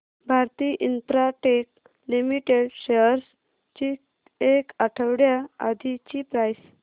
Bharti Infratel limited shares ची एक आठवड्या आधीची प्राइस